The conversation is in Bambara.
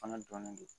Fana dɔnnen don